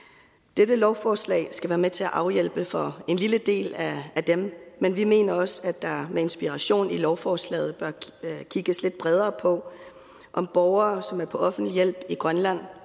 dette lovforslag skal være med til at afhjælpe det for en lille del af dem men vi mener også at der med inspiration i lovforslaget bør kigges lidt bredere på om borgere som er på offentlig hjælp i grønland